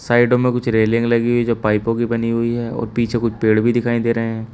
साइडो में कुछ रेलिंग लगी हुई है जो पाइपों की बनी हुई है और पीछे कुछ पेड़ भी दिखाई दे रहे हैं।